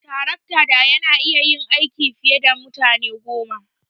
Tarakta daya na iya yin aiki fiye da mutane goma.